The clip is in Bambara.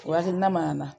O hakilina mana na